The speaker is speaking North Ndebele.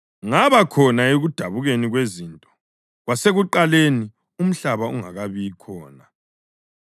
ngaba khona ekudabukeni kwezinto, kwasekuqaleni, umhlaba ungakabi khona.